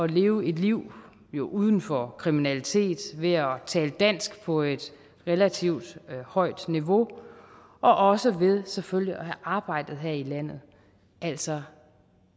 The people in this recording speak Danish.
leve et liv liv uden for kriminalitet ved at tale dansk på et relativt højt niveau og også ved selvfølgelig at have arbejdet her i landet altså